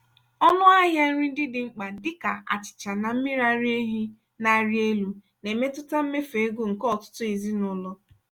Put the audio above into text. ọnụ ahịa nri ndị dị mkpa dịka achịcha na mmiri ara ehi na-arị elu na-emetụta mmefu ego nke ọtụtụ ezinụlọ.